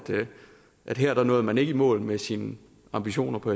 her nåede man ikke i mål med sine ambitioner på